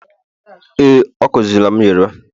ee, o kuziri m Yoruba